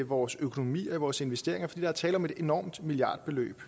vores økonomi og i vores investeringer fordi der er tale om et enormt milliardbeløb